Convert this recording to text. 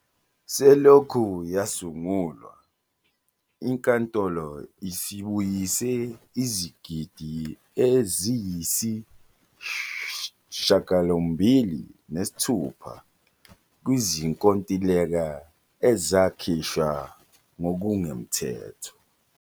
Selokhu yasungulwa, iNkantolo isibuyise izigidigidi eziyisi-R8.6 kwizinkontileka ezakhishwa ngokungemthetho.